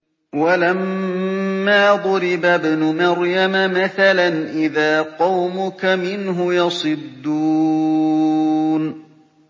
۞ وَلَمَّا ضُرِبَ ابْنُ مَرْيَمَ مَثَلًا إِذَا قَوْمُكَ مِنْهُ يَصِدُّونَ